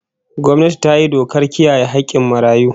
Gwamnati ta yi dokar kiyaye hakkin marayu